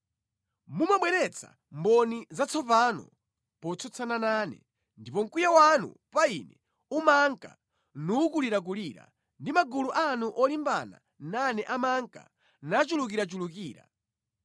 Mumabweretsa mboni zatsopano potsutsana nane ndipo mkwiyo wanu pa ine umanka nukulirakulira ndi magulu anu olimbana nane amanka nachulukirachulukira.